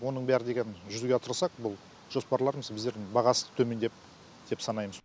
оның бәрі деген жүзеге асырсақ бұл жоспарларымыз өздерінің бағасы төмендеп деп санаймыз